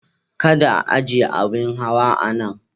Kada a aje abin hawa a nan.